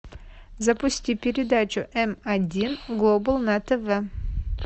запусти передачу м один глобал на тв